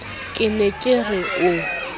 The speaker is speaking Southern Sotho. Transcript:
ke ne ke re o